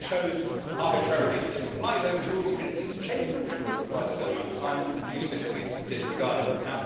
You chose arbitrarily to disapply those rules you did not seek to change them, which would have required a certain amount of time, you simply disregarded them.